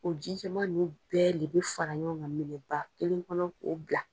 O ji jɛman nunnu bɛɛ de bɛ fara ɲɔgɔn ka minɛba kelen kɔnɔ k'o bila.